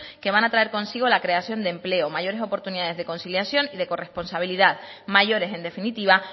que van a traen consigo la creación de empleo mayores oportunidades de conciliación y de corresponsabilidad mayores en definitiva